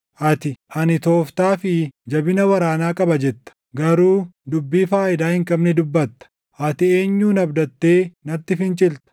Ati, “Ani tooftaa fi jabina waraanaa qaba” jetta; garuu dubbii faayidaa hin qabne dubbatta. Ati eenyun abdattee natti fincilta?